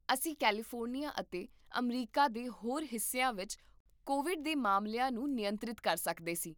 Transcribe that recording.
ਅਸੀਂ ਕੈਲੀਫੋਰਨੀਆ ਅਤੇ ਅਮਰੀਕਾ ਦੇ ਹੋਰ ਹਿੱਸਿਆਂ ਵਿੱਚ ਕੋਵਿਡ ਦੇ ਮਾਮਲਿਆਂ ਨੂੰ ਨਿਯੰਤਰਿਤ ਕਰ ਸਕਦੇ ਸੀ